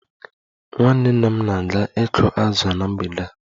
Nwanne nna m ga-aga ịkụ azụ na mgbede a